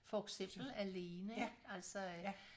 For eksempel alene ik altså øh